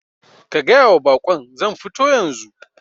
Ka gayawa bakon zan futo yanzu